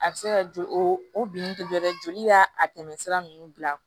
A bɛ se ka joli o bin tɛ dɔ wɛrɛ joli la a tɛmɛ sira ninnu bila